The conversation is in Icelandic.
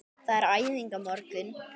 Það er æfing á morgun.